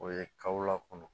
O ye kawla kɔnɔ